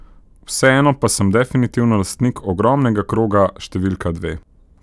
Vseeno pa sem definitivno lastnik ogromnega kroga številka dve!